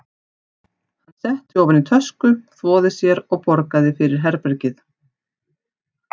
Hann setti ofan í tösku, þvoði sér og borgaði fyrir herbergið.